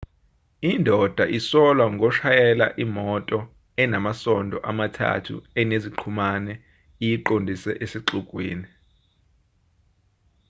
indoda isolwa ngoshayela imoto enamasondo amathathu eneziqhumane iyiqondise esixukwini